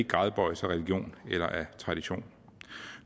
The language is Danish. gradbøjes af religion eller af tradition